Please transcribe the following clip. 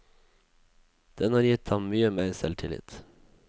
Den har gitt ham mye mer selvtillit.